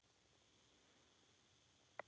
Síðan hlógu þeir báðir.